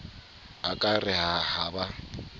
a ka re ha ba